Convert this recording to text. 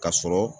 Ka sɔrɔ